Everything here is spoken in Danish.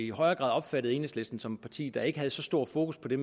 grad har opfattet enhedslisten som et parti der ikke havde så stor fokus på det